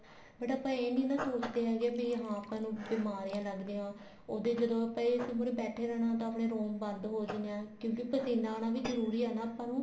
but ਆਪਾਂ ਇਹ ਨੀ ਨਾ ਸੋਚਦੇ ਹੈਗੇ ਵੀ ਆਪਾਂ ਨੂੰ ਬਿਮਾਰੀਆਂ ਲੱਗ ਰਹੀਆਂ ਨੇ ਉਹਦੇ ਜਦੋਂ ਆਪਾਂ AC ਮੁਹਰੇ ਬੈਠੇ ਰਹਿਣਾ room ਬੰਦ ਹੋ ਜਾਣਾ ਵੀ ਪਸੀਨਾ ਆਉਣਾ ਵੀ ਜਰੂਰੀ ਹੈ ਆਪਾਂ ਨੂੰ